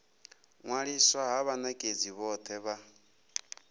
ṅwaliswa ha vhanekedzi vhothe vha